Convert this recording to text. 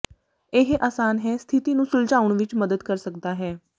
ਇਹ ਆਸਾਨ ਹੈ ਸਥਿਤੀ ਨੂੰ ਸੁਲਝਾਉਣ ਵਿੱਚ ਮਦਦ ਕਰ ਸਕਦਾ ਹੈ